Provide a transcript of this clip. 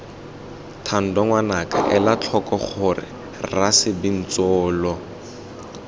thando ngwanaka elatlhoko gore rasebintsolo